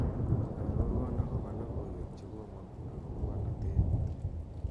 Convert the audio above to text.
arorwon agopo logoiwek chegomong' agopo bolotet